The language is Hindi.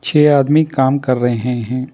छे आदमी काम कर रहे हैं।